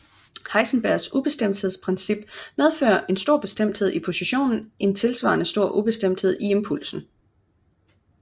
Heisenbergs ubestemthedsprincip medfører en stor bestemthed i positionen en tilsvarende stor ubestemthed i impulsen